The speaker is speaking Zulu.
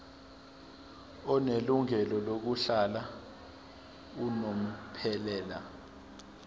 onelungelo lokuhlala unomphela